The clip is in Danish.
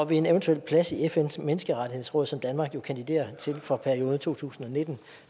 ved en eventuel plads i fns menneskerettighedsråd som danmark jo kandiderer til for perioden to tusind og nitten